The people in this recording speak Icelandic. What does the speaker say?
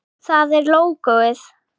Það er lógóið.